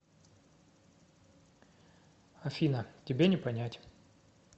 афина тебе не понять